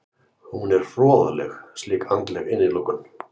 Hún er hroðaleg slík andleg innilokun.